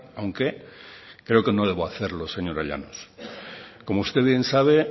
aunque creo que no debo hacerlo señora llanos como usted bien sabe